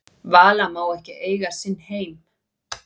Vala má ekki eiga sinn heim